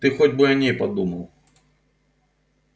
ты хоть бы о ней подумал